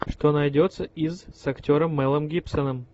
что найдется из с актером мэлом гибсоном